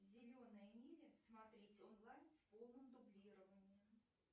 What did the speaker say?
зеленая миля смотреть онлайн с полным дублированием